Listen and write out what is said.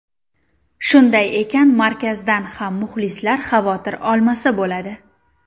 Shunday ekan markazdan ham muxlislar xavotir olmasa bo‘ladi.